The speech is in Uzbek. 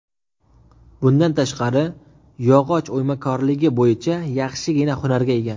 Bundan tashqari, yog‘och o‘ymakorligi bo‘yicha yaxshigina hunarga ega.